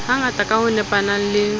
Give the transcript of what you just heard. hangata ka ho nepahala le